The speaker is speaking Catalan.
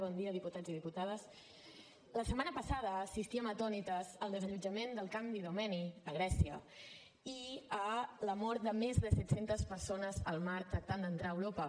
bon dia diputats i diputades la setmana passada assistíem atònites al desallotjament del camp d’idomeni a grècia i a la mort de més de set cents persones al mar que tractaven d’entrar a europa